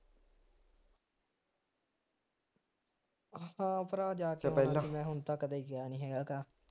ਆਪਾਂ ਭਰਾ ਜਾ ਹੁਣ ਤਾਂ ਕਦੇ ਗਿਆ ਨਹੀਂ ਹੈਗਾ